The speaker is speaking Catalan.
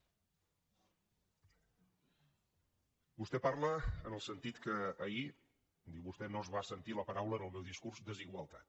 vostè parla en el sentit que ahir ho diu vostè no es va sentir la paraula en el meu discurs desigualtat